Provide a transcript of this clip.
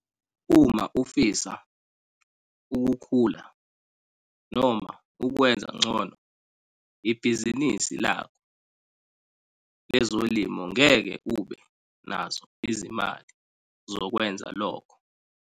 Uma ufisa ukukhula, noma ukwenza ngcono ibhizinisi lakho lezolimo ngeke ube nazo izimali zokwenza lokho,